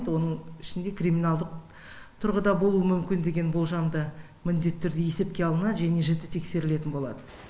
оның ішінде криминалдық тұрғыда болуы мүмкін деген болжам да міндетті түрде есепке алынады және жіті тексерілетін болады